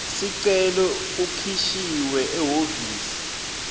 sicelo ukhishiwe ehhovisi